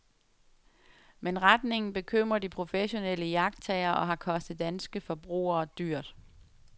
Men retningen bekymrer de professionelle iagttagere og har kostet danske forbrugere dyrt.